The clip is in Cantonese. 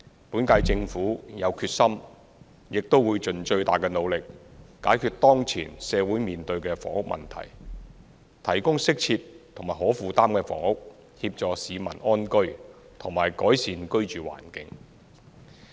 本屆政府有決心，亦會盡最大努力，解決當前社會面對的房屋問題，提供適切及可負擔的房屋，協助市民安居和改善居住環境。